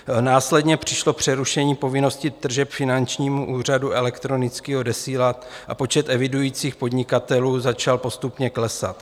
Následně přišlo přerušení povinnosti tržeb finančnímu úřadu elektronicky odesílat a počet evidujících podnikatelů začal postupně klesat.